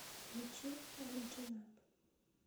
включи алиджинаб